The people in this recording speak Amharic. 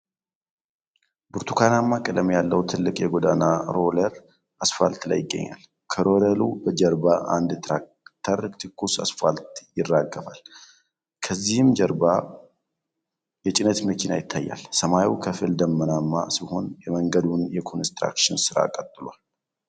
ብርቱካናማ ቀለም ያለው ትልቅ የጎዳና ሮለር አስፋልት ላይ ይገኛል። ከሮለሩ ጀርባ አንድ ትራክተር ትኩስ አስፋልት ያራግፋል፤ ከዚህም ጀርባ የጭነት መኪና ይታያል። ሰማዩ ከፊል ደመናማ ሲሆን የመንገዱም የኮንስትራክሽን ሥራ ቀጥሏል።